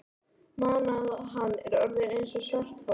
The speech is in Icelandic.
mana að hann er orðinn eins og svarthol.